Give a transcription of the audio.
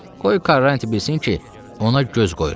Qoy Karrantı bilsin ki, ona göz qoyuram.